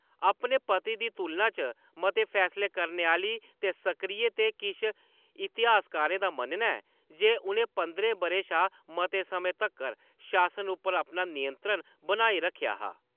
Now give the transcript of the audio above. अपने पति दी तुलना च मते फैसले करने आह्‌‌ली ते सक्रिय, ते किश इतिहासकारें दा मन्नना ऐ जे उ'नें पंदरें बʼरें शा मते समें तक्कर शासन उप्पर अपना नियंत्रण बनाई रक्खेआ हा।